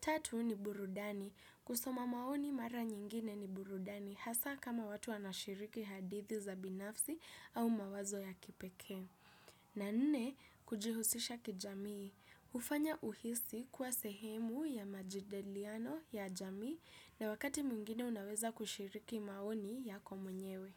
Tatu, ni burudani. Kusoma maoni mara nyingine ni burudani hasa kama watu wanashiriki hadithi za binafsi au mawazo ya kipekee. Na nne, kujihusisha kijamii, hufanya uhisi kuwa sehemu ya majadiliano ya jamii na wakati mwingine unaweza kushiriki maoni yako mwenyewe.